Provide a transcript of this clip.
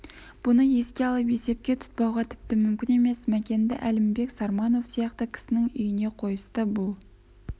бұны еске алып есепке тұтпауға тіпті мүмкін емес мәкенді әлімбек сарманов сияқты кісінің үйіне қойысты бұл